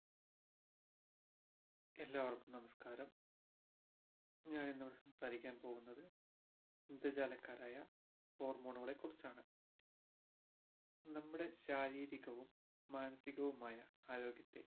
എല്ലാവര്ക്കും നമസ്കാരം ഞാൻ ഇന്ന് ഇവിടെ സംസാരിക്കാൻ പോകുന്നത് ഇന്ദ്രജാലക്കാരായ hormone കളെ കുറിച്ചാണ് നമ്മുടെ ശാരീരികവും മാനസീകവുമായാമ ആരോഗ്യത്തെ